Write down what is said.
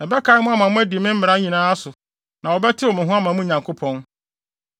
Ɛbɛkae mo ama moadi me mmara nyinaa so na wɔbɛtew mo ho ama mo Nyankopɔn.